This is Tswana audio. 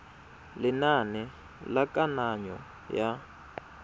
ya lenane la kananyo ya